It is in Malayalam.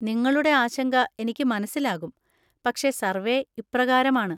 നിങ്ങളുടെ ആശങ്ക എനിക്ക് മനസ്സിലാകും, പക്ഷേ സർവേ ഇപ്രകാരമാണ്.